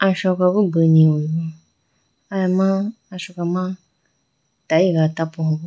Asoka bo beni ho aya ma Asoka ma tayega tapuhu.